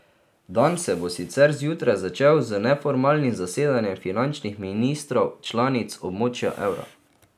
Dan se bo sicer zjutraj začel z neformalnim zasedanjem finančnih ministrov članic območja evra.